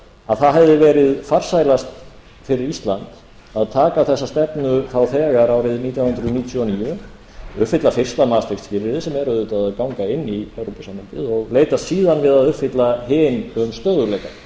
að það hefði verið farsælast fyrir ísland að taka þessa stefnu þá þegar árið nítján hundruð níutíu og níu uppfylla fyrsta maastricht skilyrðið sem er auðvitað að ganga inn í evrópusambandið og leitast síðan við að uppfylla hin um stöðugleika ég